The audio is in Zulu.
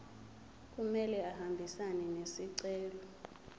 kumele ahambisane nesicelo